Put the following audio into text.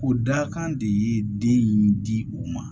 O dakan de ye den in di u ma